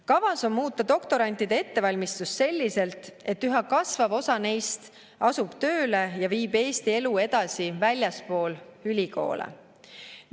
Kavas on muuta doktorantide ettevalmistust selliselt, et üha kasvav osa neist asub tööle ja viib Eesti elu edasi väljaspool ülikoole.